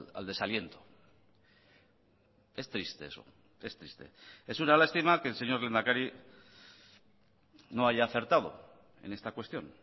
al desaliento es triste eso es triste es una lástima que el señor lehendakari no haya acertado en esta cuestión